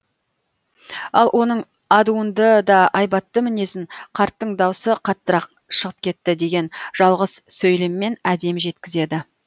ал оның адуынды да айбатты мінезін қарттың даусы қаттырақ шығып кетті деген жалғыз сөйлеммен әдемі жеткізеді